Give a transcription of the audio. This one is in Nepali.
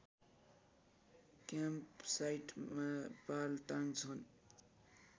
क्याम्पसाइटमा पाल टाँग्छन्